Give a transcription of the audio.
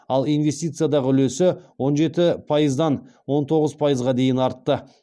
ал инвестициядағы үлесі он жеті пайыздан он тоғыз пайызға дейін артты